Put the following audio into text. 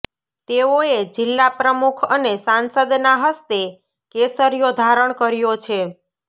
તેઓએ જિલ્લા પ્રમુખ અને સાંસદના હસ્તે કેસરિયો ધારણ કર્યો છે